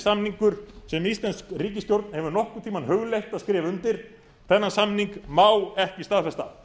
samningur sem íslensk ríkisstjórn hefur nokkurn tímann hugleitt að skrifa undir þennan samning má ekki staðfesta